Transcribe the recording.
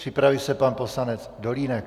Připraví se pan poslanec Dolínek.